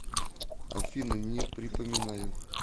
афина не припоминаю